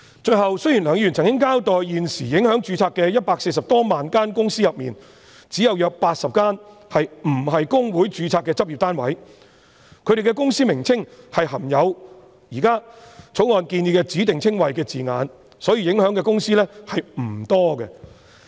最後，雖然梁議員曾經交代在現時140多萬間公司裏，只有約80間不是公會註冊的執業單位，他們的公司名稱含有現時《條例草案》建議的指定稱謂的字眼，所以受影響的公司並不多。